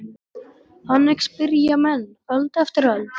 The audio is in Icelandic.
Þannig spyrja menn öld eftir öld.